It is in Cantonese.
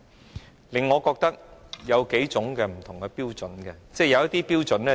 這令我覺得建制派和保皇黨持有不同的標準。